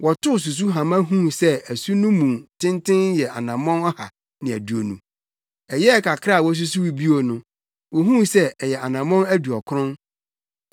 Wɔtoo susuhama huu sɛ asu no mu tenten yɛ anammɔn ɔha ne aduonu. Ɛyɛɛ kakra a wosusuw bio no, wohuu sɛ ɛyɛ anammɔn aduɔkron.